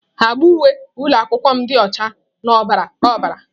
Agba uwe ụlọ akwụkwọ m dị ọcha na ọbara ọbara.